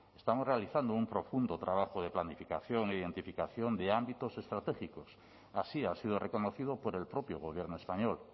estamos realizando un profundo trabajo de planificación e identificación de ámbitos estratégicos así ha sido reconocido por el propio gobierno español